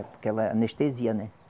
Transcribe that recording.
Porque ela anestesia, né?